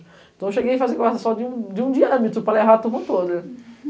Então, eu cheguei a fazer guarda-sol de um diâmetro, o